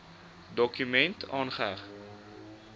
dokument aangeheg